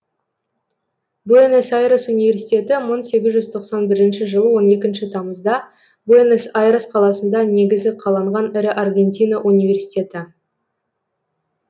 буэнос айрес университеті мың сегіз жүз тоқсан бірінші жылы он екінші тамызда буэнос айрес қаласында негізі қаланған ірі аргентина университеті